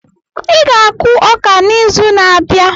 Ị ga-akụ ọka n'izu na-abịa.